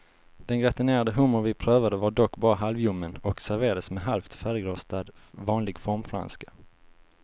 Den gratinerade hummer vi prövade var dock bara halvljummen och serverades med halvt färdigrostad vanlig formfranska.